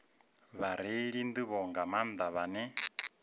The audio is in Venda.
vhareili nḓivho nga maanḓa vhane